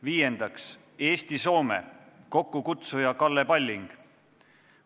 Viiendaks, Eesti-Soome, kokkukutsuja on Kalle Palling.